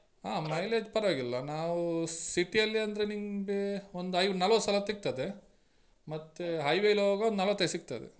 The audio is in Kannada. ಹಾ mileage ಪರ್ವಾಗಿಲ್ಲ ನಾವು city ಅಲ್ಲಿ ಅಂದ್ರೆ ನಿಮ್ಗೆ ಒಂದ್ ನಲ್ವತ್ಸಲ ಸಿಗ್ತದೆ ಮತ್ತೆ highway ಲಿ ಹೋಗುವಾಗ ನಲ್ವತ್ತೈದ್ ಸಿಗ್ತದೆ.